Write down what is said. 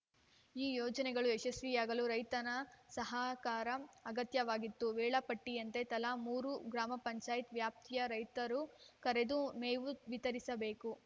ಈ ಯೋಜನೆಗಳು ಯಶಸ್ವಿಯಾಗಲು ರೈತರ ಸಹಕಾರ ಅಗತ್ಯವಾಗಿತ್ತು ವೇಳಾ ಪಟ್ಟಿಯಂತೆ ತಲಾ ಮೂರು ಗ್ರಾಮ ಪಂಚಾಯತ್ ವ್ಯಾಪ್ತಿಯ ರೈತರನ್ನು ಕರೆದು ಮೇವು ವಿತರಿಸಬೇಕು